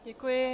Děkuji.